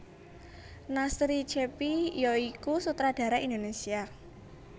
Nasri Cheppy ya iku sutradara Indonesia